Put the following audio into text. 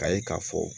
K'a ye k'a fɔ